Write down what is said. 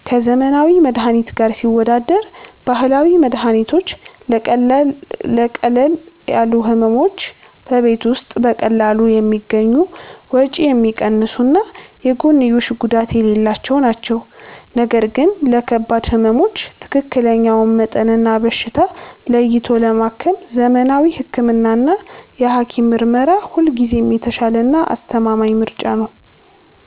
ከዘመናዊ መድኃኒት ጋር ሲወዳደር፦ ባህላዊ መድኃኒቶች ለቀለል ያሉ ሕመሞች በቤት ውስጥ በቀላሉ የሚገኙ፣ ወጪ የሚቀንሱና የጎንዮሽ ጉዳት የሌላቸው ናቸው። ነገር ግን ለከባድ ሕመሞች ትክክለኛውን መጠንና በሽታ ለይቶ ለማከም ዘመናዊ ሕክምናና የሐኪም ምርመራ ሁልጊዜም የተሻለና አስተማማኝ ምርጫ ነው።